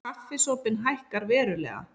Kaffisopinn hækkar verulega